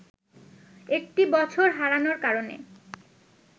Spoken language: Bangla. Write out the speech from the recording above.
একটি বছর হারানোর কারণে